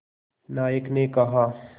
नायक ने कहा